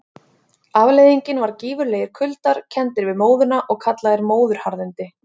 Afleiðingin var gífurlegir kuldar, kenndir við móðuna og kallaðir móðuharðindi.